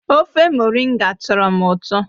ofe moringa tọrọ m ụtọ